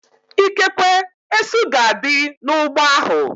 Ikekwe, esu ga-adị n'ụgbọ ahu